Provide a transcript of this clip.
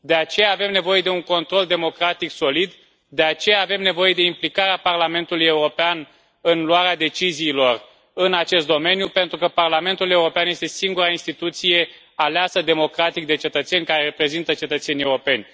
De aceea, avem nevoie de un control democratic solid, de aceea, avem nevoie de implicarea Parlamentului European în luarea deciziilor în acest domeniu, pentru că Parlamentul European este singura instituție aleasă democratic de cetățeni, care reprezintă cetățenii europeni.